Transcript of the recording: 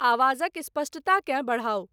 आवाजक स्पष्टताकेँ बढ़ाउ